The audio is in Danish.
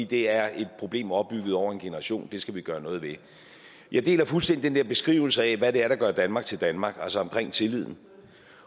det er et problem opbygget over en generation og det skal vi gøre noget ved jeg deler fuldstændig den der beskrivelse af hvad der der gør danmark til danmark altså omkring tilliden